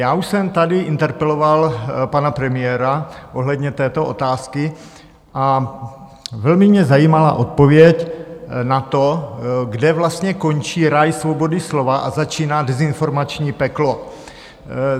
Já už jsem tady interpeloval pana premiéra ohledně této otázky a velmi mě zajímala odpověď na to, kde vlastně končí ráj svobody slova a začíná dezinformační peklo.